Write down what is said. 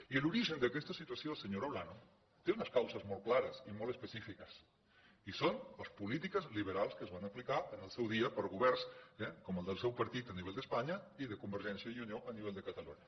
i l’origen d’aquesta situació senyora olano té unes causes molt clares i molt específiques i són les polítiques liberals que es van apli car en el seu dia per governs com el del seu partit a nivell d’espanya i de convergència i unió a nivell de catalunya